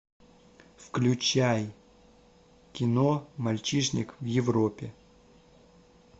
включай кино мальчишник в европе